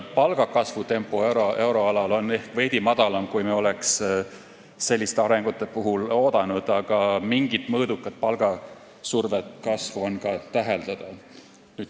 Palgakasvu tempo euroalal on ehk veidi aeglasem, kui me oleks sellise arengu puhul oodanud, aga võib täheldada ka mõõdukat survet sellele.